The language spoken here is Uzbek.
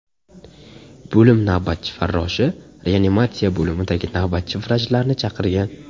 Bo‘lim navbatchi farroshi reanimatsiya bo‘limidagi navbatchi vrachlarni chaqirgan.